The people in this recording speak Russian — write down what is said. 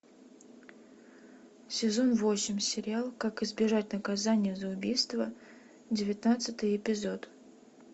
сезон восемь сериал как избежать наказания за убийство девятнадцатый эпизод